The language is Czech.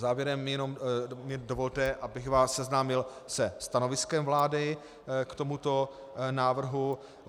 Závěrem mi dovolte, abych vás seznámil se stanoviskem vlády k tomuto návrhu.